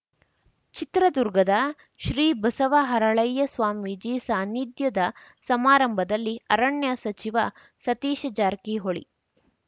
ಚಿತ್ರದುರ್ಗದ ಶ್ರೀ ಬಸವ ಹರಳಯ್ಯ ಸ್ವಾಮೀಜಿ ಸಾನಿಧ್ಯದ ಸಮಾರಂಭದಲ್ಲಿ ಅರಣ್ಯ ಸಚಿವ ಸತೀಶ ಜಾರಕಿಹೊಳಿ